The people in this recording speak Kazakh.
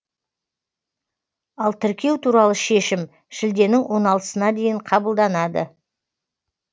ал тіркеу туралы шешім шілденің оналтысына дейін қабылданады